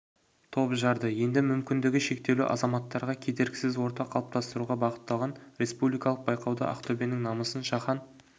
топ жарды енді мүмкіндігі шектеулі азаматтарға кедергісіз орта қалыптастыруға бағытталған республикалық байқауда ақтөбенің намысын шахан